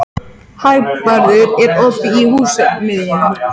Þau lifa meðal annars á hrjóstrugum svæðum við jaðra eyðimarka Namibíu.